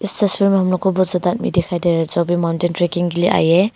इस तस्वीर में हम लोग को बहोत ज्यादा आदमी दिखाई दे रहे जो भी माउंटेन ट्रैकिंग के लिए आई है।